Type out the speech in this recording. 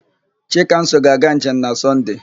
Chikamso ga-aga njem na Sọnde.